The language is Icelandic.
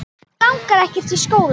Mig langar ekkert í skóla.